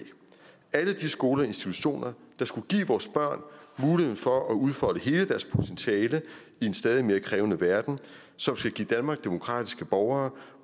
alle de skoler og institutioner der skal give vores børn mulighed for at udfolde hele deres potentiale i en stadig mere krævende verden og som skal give danmark demokratiske borgere